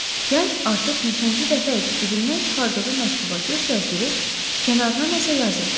Gənc artıq neçənci dəfə idi cibindən çıxardığı məktuba göz gəzdirib kənarına nəsə yazırdı.